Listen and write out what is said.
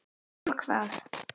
Nema hvað!?!